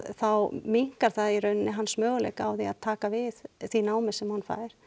þá minnkar það í rauninni hans möguleika á því að taka við því námi sem hann fær